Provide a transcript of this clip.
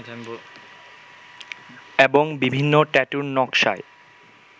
এবং বিভিন্ন ট্যাটুর নকশায়